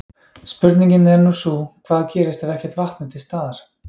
Spurningin er nú sú, hvað gerist ef ekkert vatn er til staðar?